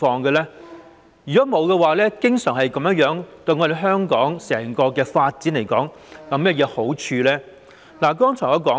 如沒有，以致經常做成滯後的情況，對香港整體發展有甚麼好處呢？